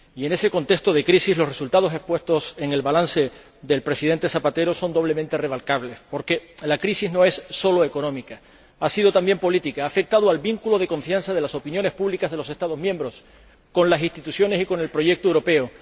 Y, en ese contexto de crisis, los resultados expuestos en el balance del Presidente Rodríguez Zapatero son doblemente remarcables, porque la crisis no es solo económica. Ha sido también política. Ha afectado al vínculo de confianza de las opiniones públicas de los Estados miembros con las instituciones y con el proyecto europeo.